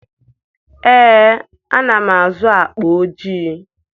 Ee, ana m azụ akpa ojii.